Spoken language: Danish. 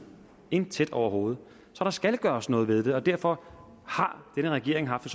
intet overhovedet så der skal gøres noget ved det derfor har denne regering haft